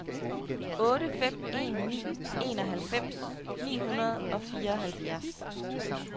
otte fem en ni enoghalvfems ni hundrede og fireoghalvfjerds